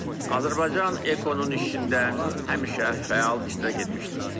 Azərbaycan Ekonun işində həmişə fəal iştirak etmişdir.